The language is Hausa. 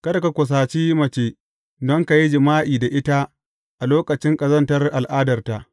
Kada ka kusaci mace don ka yi jima’i da ita a lokacin ƙazantar al’adarta.